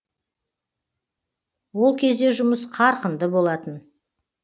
ол кезде жұмыс қарқынды болатын